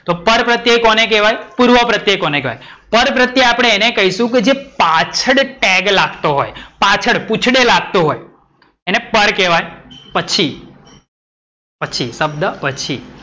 તો પરપ્રત્યય કોને કહેવાય? પૂર્વપ્રત્યય કોને કહેવાય? પરપ્રત્યય આપણે એને કઇશું કે જે પાછડ ટેગ લાગતો હોય. પાછડ પૂછડે લાગતું હોય એને પર કહેવાય પછી. પછી શબ્દ પછી.